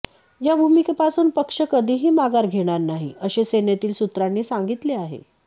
या भूमिकेपासून पक्ष कधीही माघार घेणार नाही असे सेनेतील सूत्रांनी सांगितले आहे